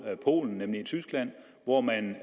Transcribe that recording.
polen nemlig tyskland hvor man